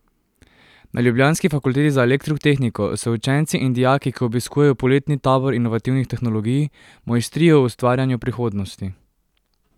Na ljubljanski fakulteti za elektrotehniko se učenci in dijaki, ki obiskujejo poletni tabor inovativnih tehnologij, mojstrijo v ustvarjanju prihodnosti.